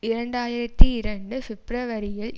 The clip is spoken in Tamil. இரண்டு ஆயிரத்தி இரண்டு பிப்பிரவரியில்